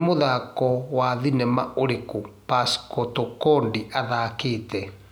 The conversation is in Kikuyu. Nî mũthako wa thĩnema ũrikũ pascal Tokodi athakĩte